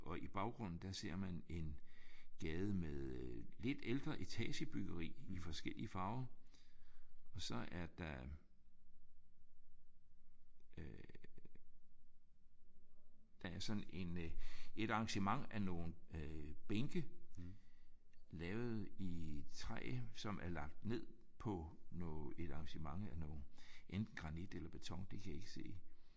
Og i baggrunden der ser man en gade med øh lidt ældre etagebyggeri i forskellige farver og så er der øh der er sådan en øh et arrangement af nogle øh bænke lavet i træ som er lagt ned på et arrangement af noget enten granit eller beton. Det kan jeg ikke se